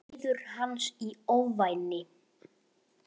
Bíður hans í ofvæni.